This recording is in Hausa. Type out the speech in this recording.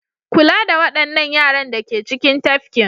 Kula da waɗannan yaran da ke cikin tafkin.